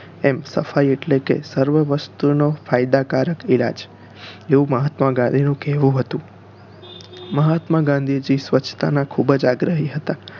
એમ સફાઈ એટલે કે સર્વવસ્તુ નો ફાયદા કારક ઈલાજ એવું મહાત્મા ગાંધી નું કેહવું હતું મહાત્મા ગાંધીજી સ્વચ્છતા નાં ખુબજ આગ્રહી હતા